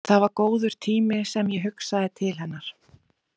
Það var góður tími sem ég hugsaði til hennar.